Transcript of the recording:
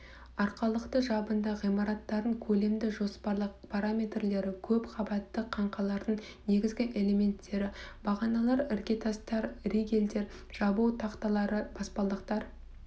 арқалықты жабынды ғимараттардың көлемді жоспарлы параметрлері көп қабатты қаңқалардың негізі элементтері бағаналар іргетастар ригельдер жабу тақталары баспалдақтар